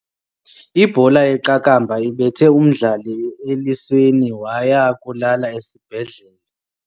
Ibhola yeqakamba ibethe umdlali elisweni waya kulala esibhedlele.